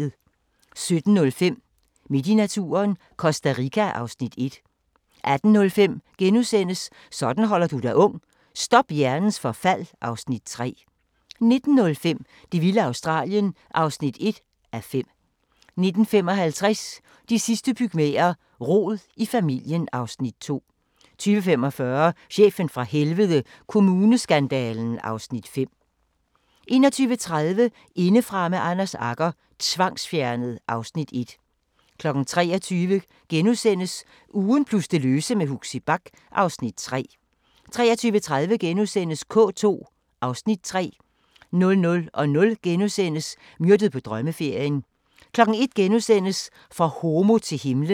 17:05: Midt i naturen – Costa Rica (Afs. 1) 18:05: Sådan holder du dig ung: Stop hjernens forfald (Afs. 3)* 19:05: Det vilde Australien (1:5) 19:55: De sidste pygmæer: Rod i familien (Afs. 2) 20:45: Chefen fra Helvede – Kommuneskandalen (Afs. 5) 21:30: Indefra med Anders Agger – Tvangsfjernet (Afs. 1) 23:00: Ugen plus det løse med Huxi Bach (Afs. 3)* 23:30: K2 (Afs. 3)* 00:00: Myrdet på drømmeferien * 01:00: For homo til himlen *